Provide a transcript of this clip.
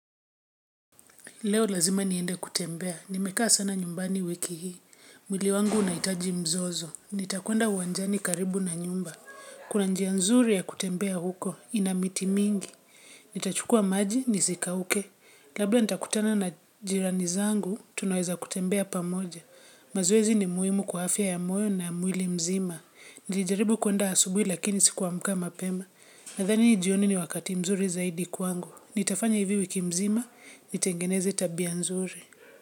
Leo lazima niende kutembea. Nimekaa sana nyumbani wiki hii. Mwili wangu unahitaji mzozo. Nitakwenda uwanjani karibu na nyumba. Kuna njia nzuri ya kutembea huko. Ina miti mingi. Nitachukua maji, nisikauke. Labla nitakutana na jirani zangu, tunaweza kutembea pamoja. Mazoezi ni muhimu kwa afya ya moyo na ya mwili mzima. Nilijaribu kuenda asubuhi lakini sikuamka mapema. Nadhani ni jioni ni wakati mzuri zaidi kwangu. Nitafanya hivi wiki mzima, nitengeneze tabia nzuri.